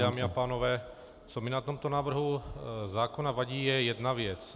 Dámy a pánové, co mi na tomto návrhu zákona vadí, je jedna věc.